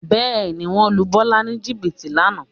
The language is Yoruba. Bẹ́ẹ̀ ni, wọ́n lu Bọ́lá ní jìbìtì lánàá